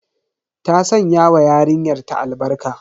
Ta sanya wa yarinyar ta albarka.